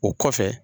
O kɔfɛ